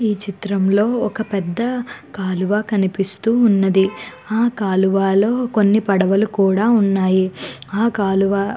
ఈ చిత్రం లో ఒక పెద్ధ కాలువ కనిపిస్తున్నది ఆ కాలువలో కొన్ని పడువళు కూడా వున్నాయ్ ఆ కాలువ --